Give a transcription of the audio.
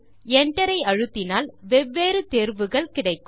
Enter ஐ அழுத்தினால் வெவ்வேறு தேர்வுகள் கிடைக்கும்